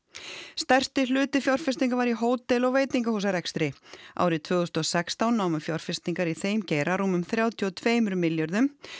stærsti hluti fjárfestinga var í hótel og veitingahúsarekstri árið tvö þúsund og sextán námu fjárfestingar í þeim geira rúmum þrjátíu og tveimur milljörðum